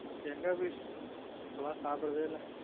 எங்க அபி இப்ப எல்லான் சாப்ட்ரதே இல்ல